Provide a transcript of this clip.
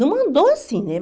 Não mandou assim, né?